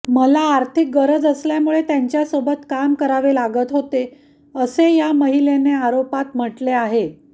मला आर्थिक गरज असल्यामुळे त्यांच्यासोबत काम करावे लागत होते असे या महिलेने आरोपत म्हटले आहे